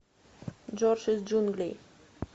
джордж из джунглей